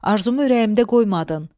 Arzumu ürəyimdə qoymadın.